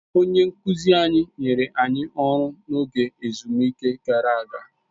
Onye nkụzi anyị nyere anyị ọrụ n'oge ezumike gara aga.